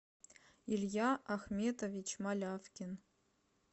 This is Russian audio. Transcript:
илья ахметович малявкин